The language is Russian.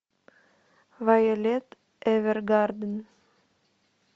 вайолет эвергарден